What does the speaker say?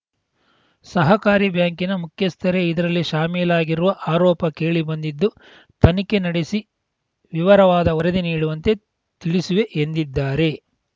ಸಹಕಾರಿ ಬ್ಯಾಂಕಿನ ಮುಖ್ಯಸ್ಥರೇ ಇದರಲ್ಲಿ ಶಾಮೀಲಾಗಿರುವ ಆರೋಪ ಕೇಳಿ ಬಂದಿದ್ದು ತನಿಖೆ ನಡೆಸಿ ವಿವರವಾದ ವರದಿ ನೀಡುವಂತೆ ತಿಳಿಸುವೆ ಎಂದಿದ್ದಾರೆ